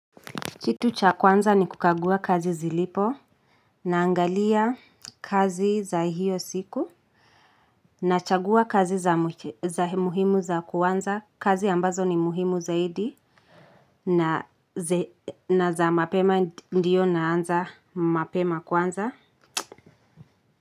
Kitu cha kwanza ni kukagua kazi zilipo naangalia kazi za hiyo siku na chagua kazi za muhimu za kwanza kazi ambazo ni muhimu zaidi na za mapema ndiyo naanza mapema kwanza.